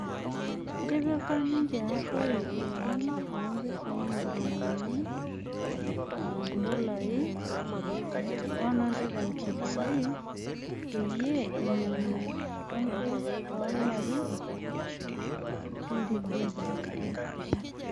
Etpika ninje Arroi esiana oompisai milioninii $143 peyie inyang'u Tonkei lo larin 23.